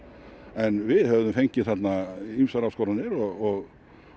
en við höfum fengið þarna ýmsar áskoranir og